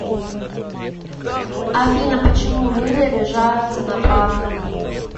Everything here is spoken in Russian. афина почему люди обижаются на правду